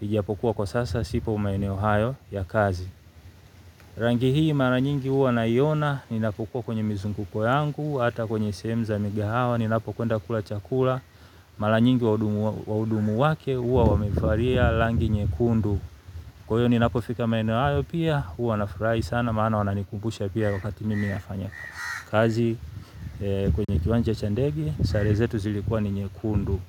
Ijiapokuwa kwa sasa sipo maeneo hayo ya kazi. Rangi hii mara nyingi huwa naiona. Ninapokuwa kwenye mizunguko yangu hata kwenye sehemu za migahawa ninapokwenda kula chakula. Mara nyingi wahudumu wake huwa wamevalia rangi nyekundu. Kwa hiyo ninapofika maeneo hayo pia huwa nafurahi sana maana wananikumbusha pia wakati mimi nafanya kazi. Kwenye kiwanja cha ndege sare zetu zilikuwa ni nyekundu.